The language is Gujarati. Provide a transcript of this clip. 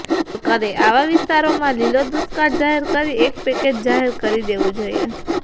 સરકારે આવા વિસ્તારોમાં લીલો દુષ્કાળ જાહેર કરી એક પેકેજ જાહેર કરી દેવું જોઈએ